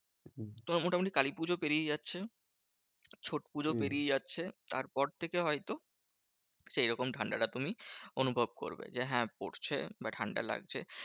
তোমার মোটামুটি কালীপুজো পেরিয়ে যাচ্ছে, ছট পুজো পেরিয়ে যাচ্ছে, তার পর থেকে হয়ত সেই রকম ঠান্ডাটা তুমি অনুভব করবে। যে হ্যাঁ পড়ছে বা ঠান্ডা লাগছে।